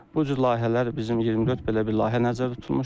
Bu cür layihələr bizim 24 belə bir layihə nəzərdə tutulmuşdur.